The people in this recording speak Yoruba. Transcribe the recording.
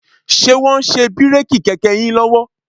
Ṣe wọ́n ń ṣe bíréèkì kẹ̀kẹ́ yín lọ́wọ́?